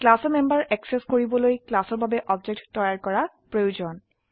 ক্লাসৰ member access কৰিবলৈ ক্লাসৰ বাবে অবজেক্ট তৈয়াৰ কৰা প্ৰয়োজন